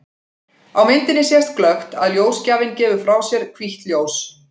Á myndinni sést glöggt að ljósgjafinn gefur frá sér hvítt ljós.